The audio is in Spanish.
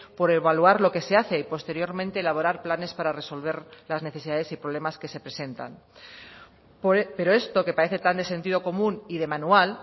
por evaluar lo que se hace y posteriormente elaborar planes para resolver las necesidades y problemas que se presentan pero esto que parece tan de sentido común y de manual